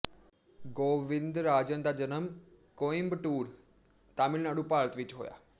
ਗੋਵਿੰਦਰਾਜਨ ਦਾ ਜਨਮ ਕੋਇੰਬਟੂਰ ਤਾਮਿਲਨਾਡੂ ਭਾਰਤ ਵਿੱਚ ਹੋਇਆ